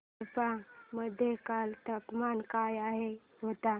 कडप्पा मध्ये काल तापमान काय होते